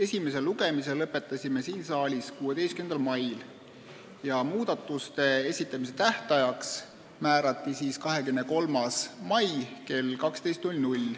Esimese lugemise lõpetasime siin saalis 16. mail ja muudatusettepanekute esitamise tähtajaks määrati 23. mai kell 12.